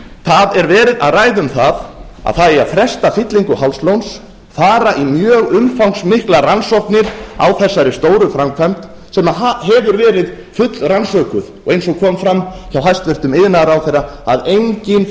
það er verið að ræða um að það eigi að fresta fyllingu hálslóns fara í mjög umfangsmiklar rannsóknir á þessari stóru framkvæmd sem hefur verið fullrannsökuð og eins og kom fram hjá hæstvirtur iðnaðarráðherra að engin